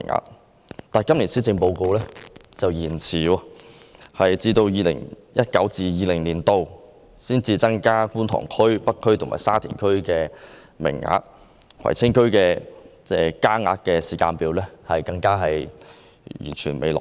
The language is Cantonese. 然而，據今年的施政報告所載，有關計劃卻延遲了，須待 2019-2020 年度才增加觀塘區、北區和沙田區的名額，而葵青區增加名額的時間表則尚未落實。